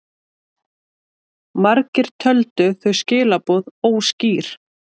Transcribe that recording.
Margir töldu þau skilaboð óskýr.